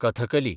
Kathakali